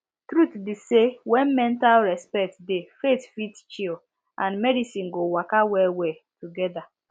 truth be say when respect dey faith fit chill and medicine go waka well well together